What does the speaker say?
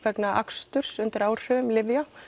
vegna aksturs undir áhrifum lyfja